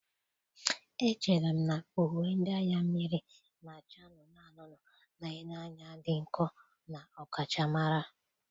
Echere m na uwe ndị agha mmiri na-acha anụnụ anụnụ na-ele anya dị nkọ na ọkachamara.